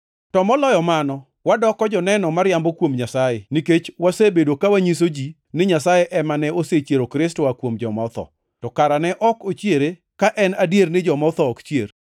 To moloyo mano, wadoko joneno mariambo kuom Nyasaye nikech wasebedo ka wanyiso ji ni Nyasaye ema ne osechiero Kristo oa kuom joma otho. To kara ne ok ochiere ka en adier ni joma otho ok chier?